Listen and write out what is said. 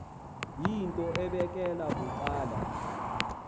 yinto ebekela bucala